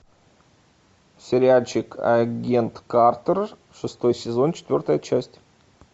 сериальчик агент картер шестой сезон четвертая часть